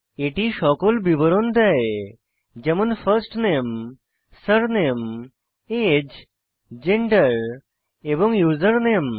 এটি সকল বিবরণ দেয় যেমন ফার্স্ট নামে সুরনামে আগে জেন্ডার এবং ইউজারনেম